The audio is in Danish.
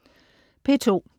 P2: